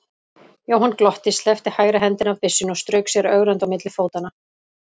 Jóhann glotti, sleppti hægri hendinni af byssunni og strauk sér ögrandi á milli fótanna.